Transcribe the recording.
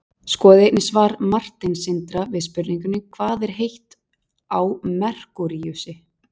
skoðið einnig svar marteins sindra við spurningunni hvað er heitt á merkúríusi